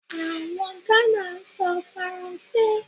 Àwọn Ghana ń sọ Faransé.